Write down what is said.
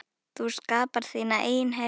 Þú skapar þína eigin heppni.